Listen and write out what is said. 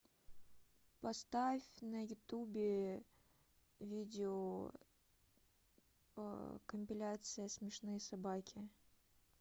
поставь на ютубе видео компиляция смешные собаки